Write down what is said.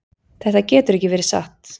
Þetta getur ekki verið satt.